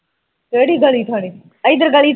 ਕਿਹੜੀ ਗਲੀ ਥਾਣੀ ਏਧਰ ਗਲੀ ਥਾਂਣੀ